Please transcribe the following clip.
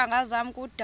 iintanga zam kudala